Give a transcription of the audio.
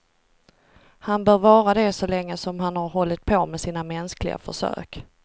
Han bör vara det så länge som han har hållit på med sina mänskliga försök.